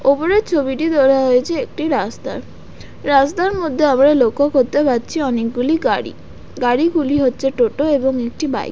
ওপরের ছবিটি তোলা হয়েছে একটি রাস্তার রাস্তার মধ্যে আমরা লক্ষ্য করতে পারছি অনেকগুলি গাড়ি গাড়িগুলি হচ্ছে টোটো এবং একটি বাইক ।